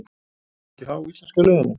Mun það ekki há íslenska liðinu?